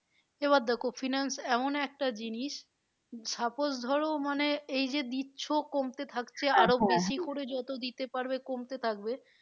এবার দেখো finance এমন একটা জিনিস suppose ধরো মানে এই যে দিচ্ছ কমতে থাকছে যত দিতে পারবে কমতে থাকবে